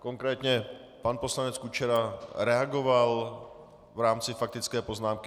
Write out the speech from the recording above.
Konkrétně pan poslanec Kučera reagoval v rámci faktické poznámky.